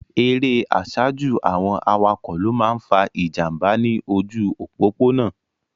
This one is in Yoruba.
Erè àsájù àwọn awakọ̀ ló máa ń fa ìjànbá ní ojú òpópónà.